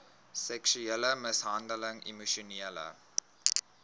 seksuele mishandeling emosionele